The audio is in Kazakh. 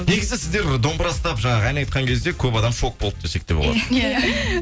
негізі сіздер домбыра ұстап жаңағы ән айтқан кезде көп адам шок болды десек те болады иә